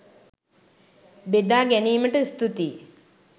බෙදා ගැනීමට ස්තුතියි!